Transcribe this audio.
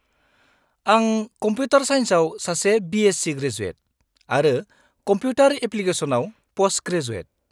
-आं कमप्युटार साइन्सआव सासे बि.एससि. ग्रेजुएट आरो कमप्युटार एप्लिकेशनआव पस्टग्रेजुएट।